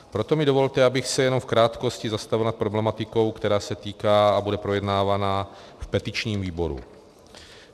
Proto mi dovolte, abych se jenom v krátkosti zastavil nad problematikou, která se týká a bude projednávaná v petičním výboru.